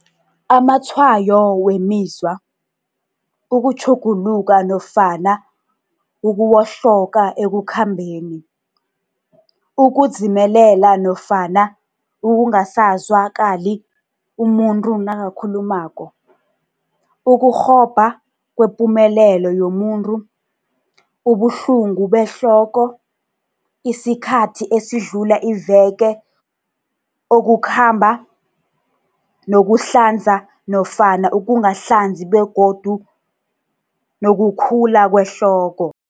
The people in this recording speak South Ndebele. Amatshwayo wemizwa, Ukutjhuguluka nofana ukuwohloka ekukhambeni, ukudzimelela nofana ukungasazwa kali umuntu nakakhulumako, ukurhobha kwepumelelo yomu ntu, ubuhlungu behloko, isikhathi esidlula iveke okukhamba nokuhlanza nofana ukungahlanzi begodu nokukhula kwehloko.